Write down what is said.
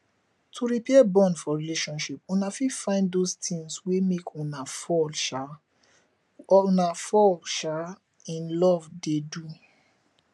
to repair bond for relationship una fit find those things wey make una fall um una fall um in love dey do